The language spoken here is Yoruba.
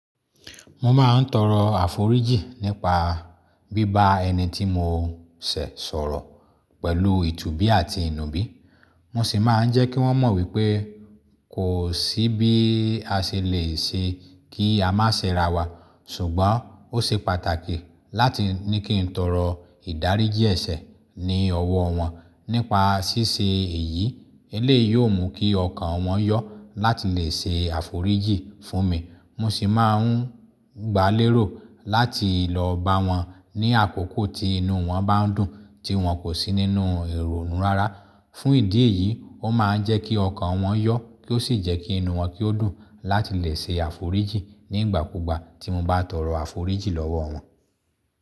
Mo máa ń tọrọ àforíjì nípa bíbá ẹni tí mo ṣẹ̀ sọ̀rọ̀ pẹ̀lú ìtùbí àti ìnùbí. Mo sì máa ń jẹ́ kí wọ́n mọ̀ wípé kò sí bí a ṣe lè ṣe kí a má ṣe ràwà, ṣùgbọ́n ó ṣe pàtàkì láti ní kí n tọrọ ìdáríjì ẹ̀ṣẹ̀ ní ọwọ́ wọn. Nípa ṣíṣe èyí, eléyì yóò mú kí ọkàn wọn yọ́ láti lè ṣe àforíjì fún mi. Mo sì máa ń gbálérò láti lọ bá wọn ní àkókò tí inú wọn bá ń dùn tí wọn kò sí nínú ìrònúrará. Fún ìdí èyí, ó máa ń jẹ́ kí ọkàn wọn yọ́ kí ó sì jẹ́ kí inú wọn kí ó dùn láti lè ṣe àforíjì nígbàkúgbà tí mo bá tọrọ àforíjì lọ́wọ́ wọn.